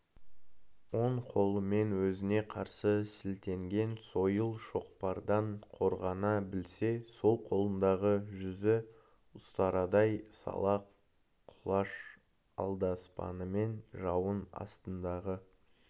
оң қолымен өзіне қарсы сілтенген сойыл шоқпардан қорғана білсе сол қолындағы жүзі ұстарадай сала құлаш алдаспанымен жауының астындағы